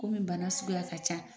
Komi bana suguya ka ca